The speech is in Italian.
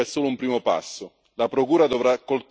Ma l'attività integrativa è solo un primo passo.